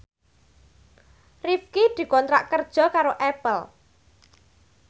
Rifqi dikontrak kerja karo Apple